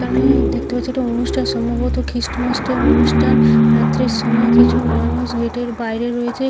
এখানে-এ দেখতে পাচ্ছি এটা অনুষ্ঠান সম্ভবত খ্রীস্টমাসটের অনুষ্ঠান রাত্রের সময় কিছু মানুষ গেট -এর বাইরে রয়েছে ।